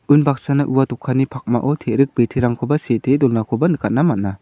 unbaksana ua dokanni pakmao te·rik biterangkoba sitee donakoba nikatna man·a.